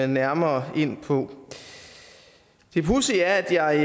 nærmere ind på det pudsige er at jeg